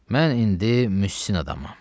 Mən indi müsin adamam.